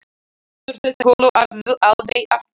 Hún finnur þessa kúlu aldrei aftur.